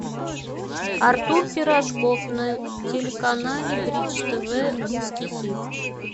артур пирожков на телеканале бридж тв русский хит